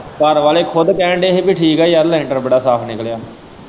ਘਰਵਾਲ਼ੇ ਖੁਦ ਕਹਿਣ ਦਏ ਹੀ ਕਿ ਠੀਕ ਏ ਯਾਰ ਲੈਂਟਰ ਬੜਾ ਸਾਫ਼ ਨਿਕਲ਼ਿਆ।